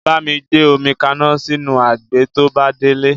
Bámi gbé omi kaná sínú àgé to bá délé